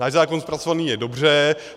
Náš zákon zpracovaný je dobře.